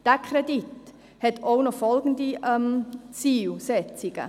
Dieser Kredit hat auch folgende Zielsetzungen: